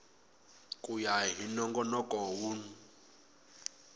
ku ya hi nongonoko wun